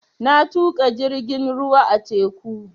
Na tuƙa jirgin ruwa a teku